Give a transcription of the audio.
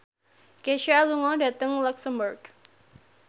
Kesha lunga dhateng luxemburg